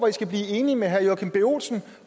i skal blive enige med herre joachim b olsen